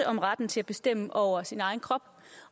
om retten til at bestemme over sin egen krop